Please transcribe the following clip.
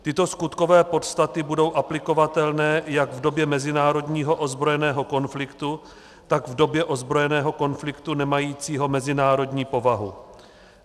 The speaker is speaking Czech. Tyto skutkové podstaty budou aplikovatelné jak v době mezinárodního ozbrojeného konfliktu, tak v době ozbrojeného konfliktu nemajícího mezinárodní povahu.